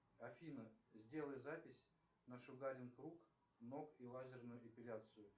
афина сделай запись на шугаринг рук ног и лазерную эпиляцию